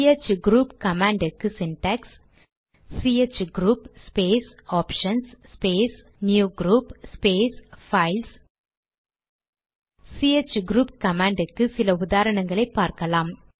CH group command க்கு syntax chgrp space options space new group space files chgrp command க்கு சில உதாரணங்களை பார்க்கலாம்